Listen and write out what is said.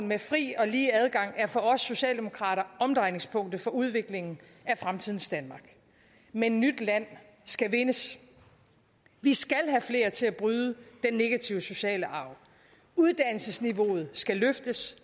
med fri og lige adgang er for os socialdemokrater omdrejningspunktet for udviklingen af fremtidens danmark men nyt land skal vindes vi skal have flere til at bryde den negative sociale arv uddannelsesniveauet skal løftes